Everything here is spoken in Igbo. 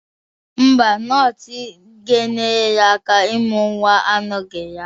Ḿbà. nọọsụ ga-enyere ya aka imụ nwa anọghị ya.